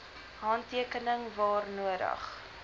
handtekening waar nodig